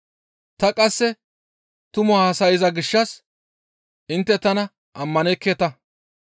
Ta qasse tumu haasayza gishshas intte tana ammanekketa.